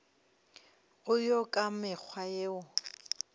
go ya ka mekgwa yeo